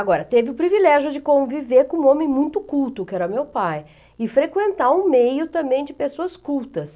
Agora, teve o privilégio de conviver com um homem muito culto, que era meu pai, e frequentar um meio também de pessoas cultas.